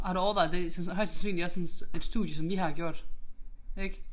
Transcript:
Har du overvejet det sådan højst sandsynligt også sådan et et studie som I har gjort ik